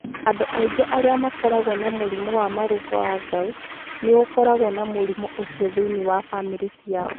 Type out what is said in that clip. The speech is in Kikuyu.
Andũ aingĩ arĩa makoragwo na mũrimũ wa marũngo wa gout, nĩ gũkoragwo na mũrimũ ũcio thĩinĩ wa bamirĩ ciao.